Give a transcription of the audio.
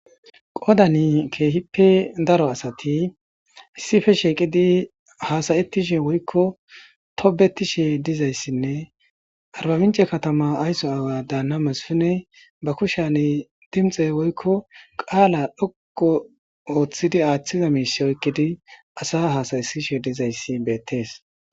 Qoodani keehipe daro asati issippe shiiqidi haasa'etishe woyko tobbetishe dizaysinne Arba mince katama ayso aawa daanna Masfiney be kushani dinxe woyko qaala dhoqqu oothidi aathiza miishe oykidi asa haasa'isishe dizaysi beetees.